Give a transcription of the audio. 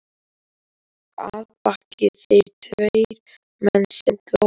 Að baki þér tveir menn sem glápa.